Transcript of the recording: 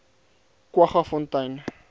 kwaggafontein